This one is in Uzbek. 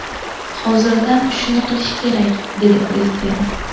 Hozirdan shuni qilish kerak”, dedi Prezident.